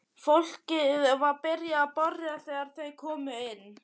Fólkið var byrjað að borða þegar þeir komu inn.